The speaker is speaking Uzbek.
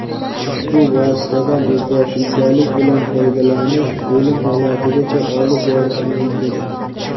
ushbu vositadan o‘zboshimchalik bilan foydalanish o‘lim holatigacha olib borishi mumkin.